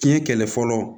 Fiɲɛ kɛlɛ fɔlɔ